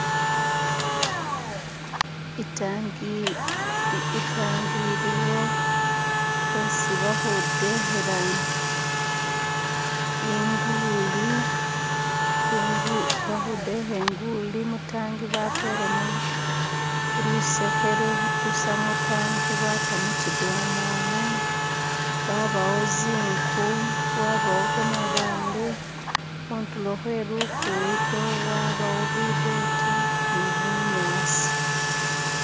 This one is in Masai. itangi itangi iliwo hesi bakhudekhela inguli ingu bakhudekha inguli mutangi batelemo lusekhe lutusa mutangi lwata muchidomola wabawo zinku wabawo gamabaale khutulo khwelugudo wabawo bidote nibunyasi